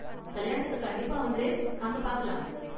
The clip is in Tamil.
கல்யாணத்துக்கு கண்டிப்பா வந்துரு, அங்க பார்க்கலாம்.